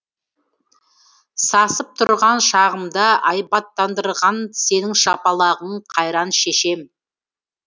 сасып тұрған шағымда айбаттандырған сенің шапалағың қайран шешем